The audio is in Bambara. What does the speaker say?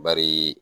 Bari